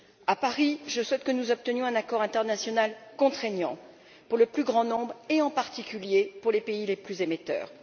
À Paris, je souhaite que nous obtenions un accord international contraignant pour le plus grand nombre, et en particulier pour les pays les plus émetteurs.